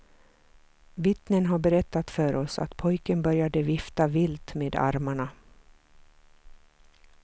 Vittnen har berättat för oss att pojken började vifta vilt med armarna.